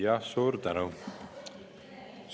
Jah, suur tänu!